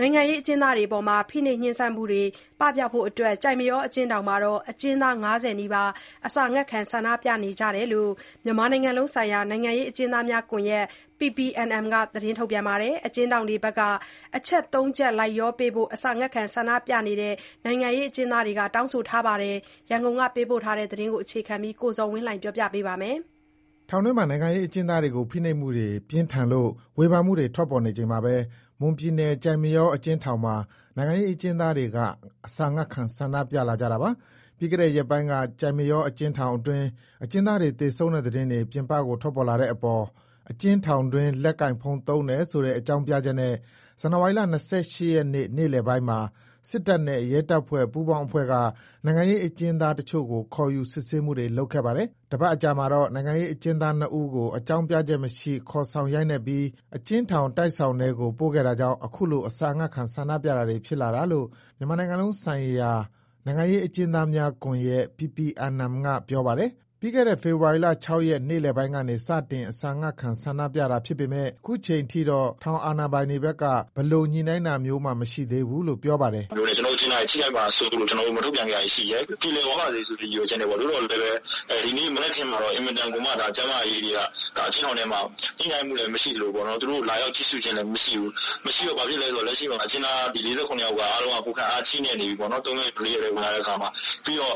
နိုင်ငံရေးအကျဉ်းသားတွေအပေါ် ဖိနှိပ်မှုတွေ ပပျောက်ဖို့အတွက် ကျိုက်မရောအကျဉ်းထောင်မှာ အကျဉ်းသား ၅၀နီးပါး အစာငတ်ခံ ဆန္ဒပြနေတယ်လို့ မြန်မာနိုင်ငံလုံးဆိုင်ရာ နိုင်ငံရေးအကျဉ်းသားများ ကွန်ရက် က ပြောပါတယ်။ အကျဉ်းထောင်တွေဘက်က အချက် ၃ချက် လိုက်လျောပေးဖို့ အစာငတ်ခံ ဆန္ဒပြနေကြတဲ့ နိုင်ငံရေးအကျဉ်းသားတွေက တောင်းဆိုထားပါတယ်။ ဒီအကြောင်း ရန်ကုန်က ပေးပို့တဲ့သတင်းကို အခြေခံပြီး ကိုဇော်ဝင်းလှိုင်က တင်ပြပေးပါမယ်။ ထောင်တွင်းမှာ နိုင်ငံရေးအကျဉ်းသားတွေကို ဖိနှိပ်မှုတွေ ပြင်းထန်လို့ ဝေဖန်မှုတွေ ထွက်ပေါ်နေချိန်မှာဘဲ မွန်ပြည်နယ်၊ ကျိုက်မရော အကျဉ်းထောင်မှာ နိုင်ငံအကျဉ်းသားတွေက အစာငတ်ခံ ဆန္ဒပြလာကြတာပါ။ ပြီးခဲ့တဲ့ရက်ပိုင်းက ကျိုက်မရောအကျဉ်းထောင်တွင်း အကျဉ်းသားတွေ သေဆုံးတဲ့သတင်းတွေ ပြင်ပကိုထွက်ပေါ်လာတဲ့အပေါ် အကျဉ်းထောင်တွင်း လက်ကိုင်ဖုန်းသုံးတယ်ဆိုတဲ့ အကြောင်းပြချက်နဲ့ ဇန်နဝါရီလ ရက်နေ့ နေ့လယ်ပိုင်းမှာ စစ်တပ်နဲ့ ရဲတပ်ဖွဲ့ ပူးပေါင်းအဖွဲ့က နိုင်ငံရေး အကျဉ်းသားတချို့ကို ခေါ်ယူ စစ်ဆေးမှုတွေ လုပ်ခဲ့ပါတယ်။ တပါတ်အကြာမှာတော့ နိုင်ငံရေးအကျဉ်းသား ဦးကို အကြောင်းပြချက်မရှိ ခေါ်ဆောင်ရိုက်နှက်ပြီး အကျဉ်းထောင် တိုက်ဆောင်ထဲကို ပို့ခဲ့တာကြောင့် အခုလို အစာငတ်ခံ ဆန္ဒပြတာတွေ ဖြစ်လာတာလို့ မြန်မာနိုင်ငံလုံးဆိုင်ရာနိုင်ငံရေးအကျဉ်းသားများကွန်ရက် က ပြောပါတယ်။ ပြီးခဲ့တဲ့ ဖေဖော်ဝါရီ ၆ရက် နေ့လည်ပိုင်းကနေ စတင် အစာငတ်ခံဆန္ဒပြခဲ့တာ ဖြစ်ပေမယ့် ခုချိန်ထိတော့ ထောင်အာဏာပိုင်တွေဘက်က ဘယ်လိုညှိုနှိုင်းတာမျိုးမှ မရှိသေးဘူးလို့ ပြောပါတယ်။ “လက်ရှိ ကျနော်တို့ဘက်က ထုတ်ပြန်လိုက်တဲ့အပေါ်မှာ ကျနော်တို့ အကျဉ်းသားတွေ ထိခိုက်မှာဆိုးလို့ မထုတ်ပြန်တာတွေရှိတယ်။ ပြေလည်ပါစေတော့ဆိုပြီး ထားပေမယ့် ဒီနေ့၊ မနက်ဖန်မှာ ကျန်းမာရေးအရ ညှိုနှိုင်းမှုလဲမရှိသလို လာရောက်ကြည့်ရှုတာလည်း မရှိဘူး။ လက်ရှိမှာ အကျဉ်းသား ၄၇ယောက်က ကိုယ်ခံအားချိနဲ့နေတယ်။ ၃ရက်နဲ့ ၄ရက် ဝင်လာတဲ့အခါမှာ ၂ယောက်